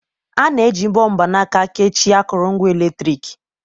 A na-eji mbọ mgbanaka kechie akụrụngwa eletrik.